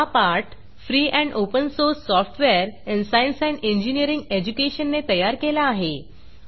हा पाठ free and open source software in science and engineering education ने तयार केला आहे